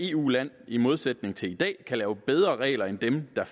eu land i modsætning til i dag lave bedre regler end dem der